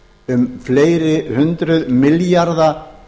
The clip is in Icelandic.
um fleiri hundruð milljarða